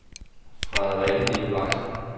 Frederikke Nicolaisen